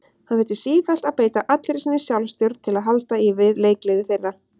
Hann þurfti sífellt að beita allri sinni sjálfstjórn til að halda í við leikgleði þeirra.